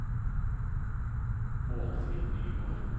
Målfrid Nygård